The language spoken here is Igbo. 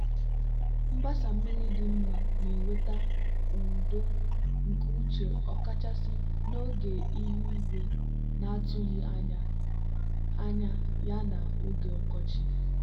mgbasa mmiri dị mma na-eweta udo nke uche ọkachasị n'oge ihu igwe na-atụghị anya ya na oge ọkọchị.